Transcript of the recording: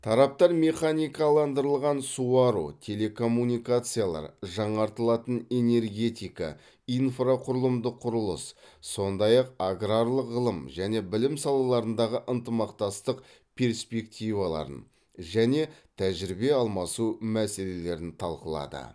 тараптар механикаландырылған суару телекоммуникациялар жаңартылатын энергетика инфрақұрылымдық құрылыс сондай ақ аграрлық ғылым және білім салаларындағы ынтымақтастық перспективаларын және тәжірибе алмасу мәселелерін талқылады